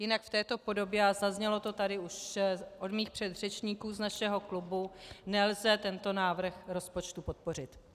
Jinak v této podobě, a zaznělo to tady už od mých předřečníků z našeho klubu, nelze tento návrh rozpočtu podpořit.